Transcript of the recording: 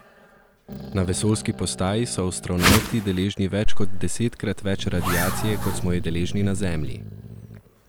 Na vesoljski postaji so astronavti deležni več kot desetkrat več radiacije kot smo jo deležni na Zemlji.